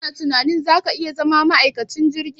Ka na tunanin za ka iya zama ma'aikacin jirgi?